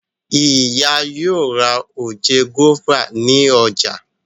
Ìyá yóò rà oje guava ní ọjà.